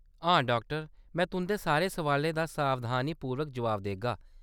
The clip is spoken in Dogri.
हां डाक्टर ! में तुंʼदे सारे सवालें दा सावधानीपूर्वक जवाब देगा।